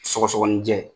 Sɔgɔsɔgɔnijɛ